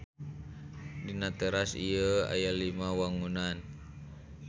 Dina teras ieu aya lima wangunan.